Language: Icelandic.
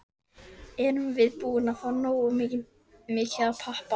Erum við búnir að fá nógu mikið af pappa?